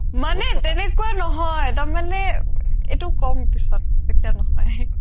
মানে তেনেকুৱা নহয় মানে এইটো কম পিছত এতিয়া নহয়